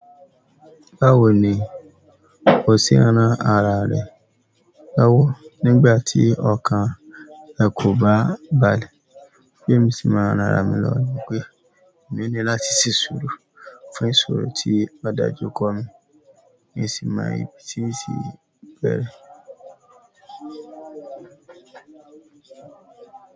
"Báwo ni o ṣe máa ń ran ara rẹ lọ́wọ́ nígbà tí ọkàn rẹ kò bá balẹ̀?" Bí èmi ṣe máa ń ran ara mi lọwo ni pé, èmi ní láti ṣí ìṣòro fún ìṣòro tí adájọ́ kọ́ mi ní ẹsìn màì tí n sí bẹ̀rẹ̀.